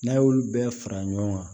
N'a y'olu bɛɛ fara ɲɔgɔn kan